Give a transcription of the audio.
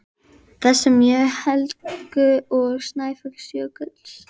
þessum mjög til Heklu og Snæfellsjökuls.